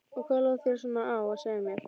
Og hvað lá þér svona á að segja mér?